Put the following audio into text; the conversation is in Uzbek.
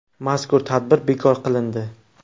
Mazkur tadbir bekor qilindi.